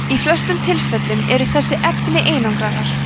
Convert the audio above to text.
í flestum tilfellum eru þessi efni einangrarar